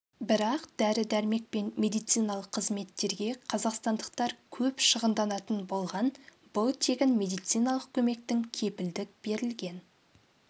бірақ дәрі-дәрмек пен медициналық қызметтерге қазақстандықтар көп шығынданатын болған бұл тегін медициналық көмектің кепілдік берілген